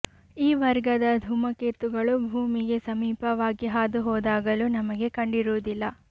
ಈ ವರ್ಗದ ಧೂಮಕೇತುಗಳು ಭೂಮಿಗೆ ಸಮೀಪವಾಗಿ ಹಾದು ಹೋದಾಗಲೂ ನಮಗೆ ಕಂಡಿರುವುದಿಲ್ಲ